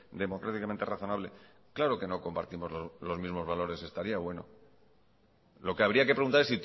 democráticamente razonable claro que no compartimos los mismos valores estaría bueno lo que habría que preguntar